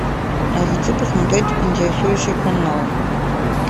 хочу посмотреть интересующий канал